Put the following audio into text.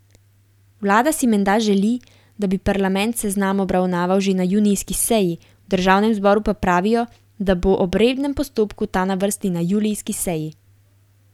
Vlada si menda želi, da bi parlament seznam obravnaval že na junijski seji, v državnem zboru pa pravijo, da bo ob rednem postopku ta na vrsti na julijski seji.